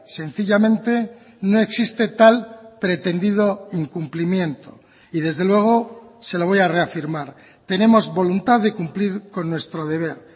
sencillamente no existe tal pretendido incumplimiento y desde luego se lo voy a reafirmar tenemos voluntad de cumplir con nuestro deber